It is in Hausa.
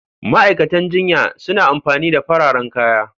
Ma'aikatan jinya suna amfani da fararen kaya.